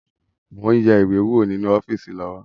Mo ń yẹ ìwé wo ninu ọ́fíìsì lọ́wọ́